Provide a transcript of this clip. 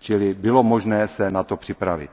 čili bylo možné se na to připravit.